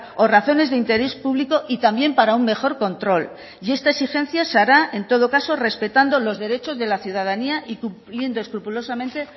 o razones de interés público y también para un mejor control y esta exigencia se hará en todo caso respetando los derechos de la ciudadanía y cumpliendo escrupulosamente